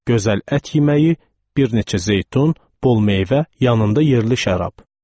Gözəl ət yeməyi, bir neçə zeytun, bol meyvə, yanında yerli şərab.